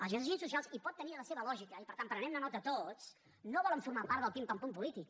els agents socials i pot tenir la seva lògica i per tant prenguem ne nota tots no volen formar part del pim pam pum polític